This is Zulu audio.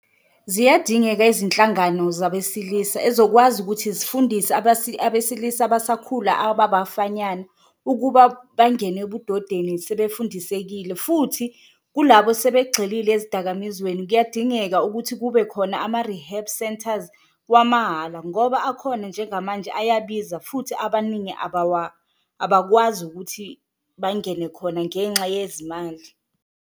Ziyadingeka izinhlangano zabesilisa ezokwazi ukuthi zifundise abesilisa abasakhula ababafanyana ukuba bangene ebudodeni sebefundisekile futhi kulabo sebegxile ezidakamizweni, kuyadingeka ukuthi kube khona ama-rehab centres wamahhala. Ngoba akhona njengamanje ayabiza futhi abaningi abakwazi ukuthi bangene khona ngenxa yezimali.